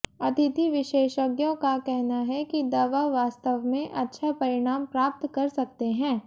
अतिथि विशेषज्ञों का कहना है कि दवा वास्तव में अच्छा परिणाम प्राप्त कर सकते हैं